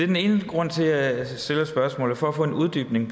den ene grund til at jeg stiller spørgsmålet for at få en uddybning